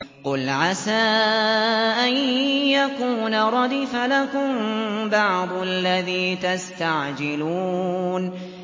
قُلْ عَسَىٰ أَن يَكُونَ رَدِفَ لَكُم بَعْضُ الَّذِي تَسْتَعْجِلُونَ